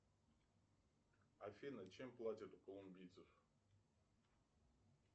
афина чем платят у колумбийцев